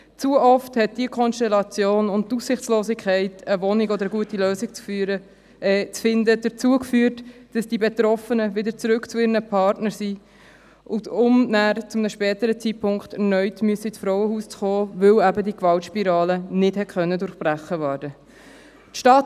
Zu oft hat diese Konstellation und die Aussichtslosigkeit, eine Wohnung oder eine gute Lösung zu finden, dazu geführt, dass die Betroffenen wieder zurück zu ihren Partnern gegangen sind, um zu einem späteren Zeitpunkt erneut ins Frauenhaus kommen zu müssen, weil die Gewaltspirale nicht durchbrochen werden konnte.